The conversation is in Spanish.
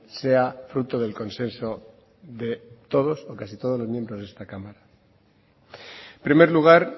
sea fruto del consenso de todos o casi todos los miembros de esta cámara en primer lugar